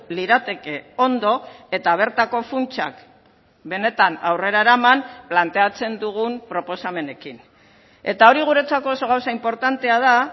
lirateke ondo eta bertako funtsak benetan aurrera eraman planteatzen dugun proposamenekin eta hori guretzako oso gauza inportantea da